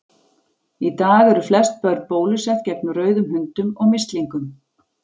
Í dag eru flest börn bólusett gegn rauðum hundum og mislingum.